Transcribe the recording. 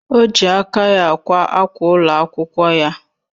Oji aka ya akwa akwa ụlọ akwụkwọ ya